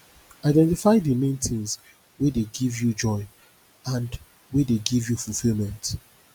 identify di main things wey dey give you joy and wey dey give fulfilment